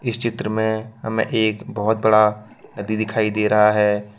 इस चित्र में हमें एक बहोत बड़ा नदी दिखाई दे रहा है।